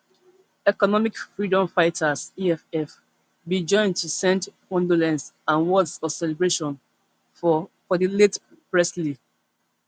economic freedom fighters eff bin join to send condolence and words of celebration for for di late presley